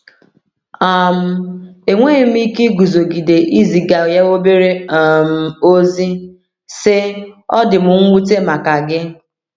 um Enweghị m ike iguzogide iziga ya obere um ozi, sị: “Ọ dị m nwute maka gị.